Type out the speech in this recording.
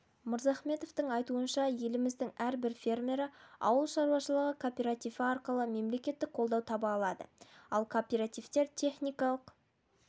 мырзахметовтің айтуынша еліміздің әрбір фермері ауыл шаруашылығы кооперативі арқылы мемлекеттік қолдау таба алады ал кооперативтерді техникалық